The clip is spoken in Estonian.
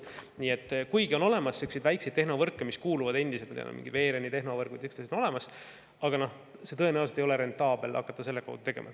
Nii et on olemas väikseid tehnovõrke, millel on mingi veerem ja sihukesed asjad, aga kuigi need on olemas, ei ole tõenäoliselt rentaabel hakata nende kaudu midagi tegema.